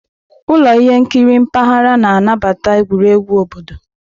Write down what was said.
Ụlọ ihe nkiri mpaghara na-anabata egwuregwu obodo.